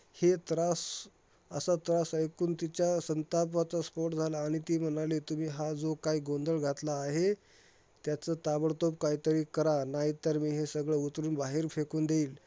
हे त्रास, असा त्रास ऐकून तिच्या संतापाचा स्फोट झाला आणि ती म्हणाली, तुम्ही हा जो काही गोंधळ घातला आहे, त्याचं ताबडतोब काहीतरी करा. नाहीतर, मी हे सगळं उचलून मी बाहेर फेकून देईल.